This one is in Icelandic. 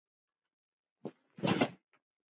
Eða alltaf smá brauði?